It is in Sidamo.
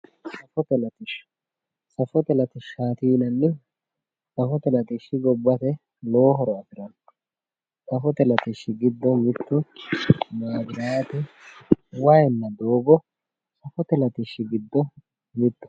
Safote latisha safote latishati yinanihu safote latishi gobate lowo horo afirano safote latishi gido mitu mabrate wayinna dogo safote latishi gido mitoho